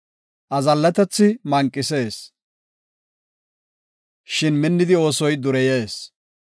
Azallatethi manqisees; shin minnidi oosoy dureyees.